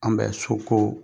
An bɛ so ko